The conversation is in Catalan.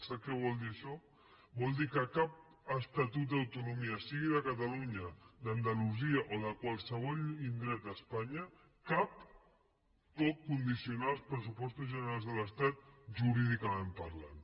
sap què vol dir això vol dir que cap estatut d’autonomia sigui de catalunya d’andalusia o de qualsevol indret d’espanya cap pot condicionar els pressupostos generals de l’estat jurídicament parlant